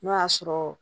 N'o y'a sɔrɔ